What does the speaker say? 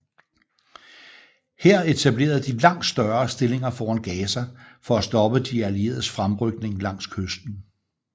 Her etablerede de langt større stillinger foran Gaza for at stoppe de allieredes fremrykning langs kysten